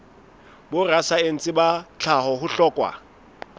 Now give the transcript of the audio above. borasaense ba tlhaho ho hlokwa